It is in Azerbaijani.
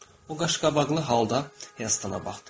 O, qaşqabaqlı halda Hestana baxdı.